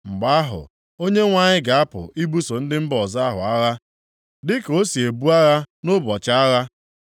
Mgbe ahụ, Onyenwe anyị ga-apụ ibuso ndị mba ọzọ ahụ agha, dịka o si ebu agha nʼụbọchị agha.